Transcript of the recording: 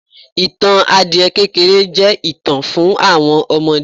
ìtàn adiẹ kékéré je itan fún àwọn ọmọdé